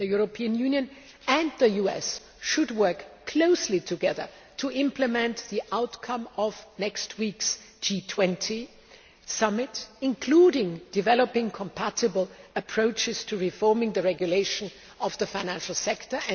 The European Union and the US should work closely together to implement the outcome of next week's G20 Summit, including developing compatible approaches to reforming the regulation of the financial sector.